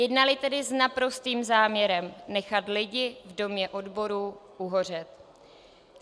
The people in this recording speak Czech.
Jednali tedy s naprostým záměrem nechat lidi v Domě odborů uhořet.